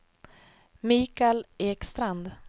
Michael Ekstrand